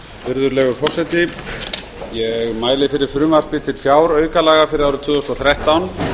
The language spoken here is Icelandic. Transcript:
virðulegur forseti ég mæli fyrir frumvarpi til fjáraukalaga fyrir árið tvö þúsund og þrettán